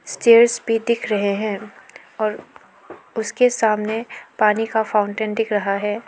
Stairs भी दिख रहे हैं और उसके सामने पानी का फाउंटेन दिख रहा है।